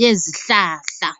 yezihlahla.